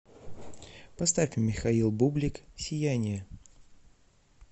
поставь михаил бублик сияние